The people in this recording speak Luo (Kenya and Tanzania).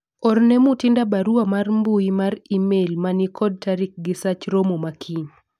orne Mutinda barua mar mbui mar email manikod tarik gi sach romo ma kiny